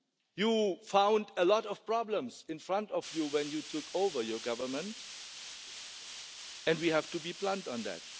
You found a lot of problems in front of you when you took over in government and we have to be blunt on that.